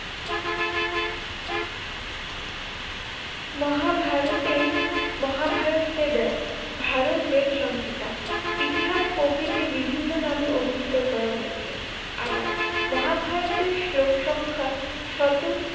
মহাভারতেই মহাভারতকে দেয় ভারত বেদ সংহিতা ইতিহাস প্রকৃতি বিভিন্ন নামে অবিহিত করা হয়েছে, আবার মহাভারতের শ- লোক সংখ্যা শত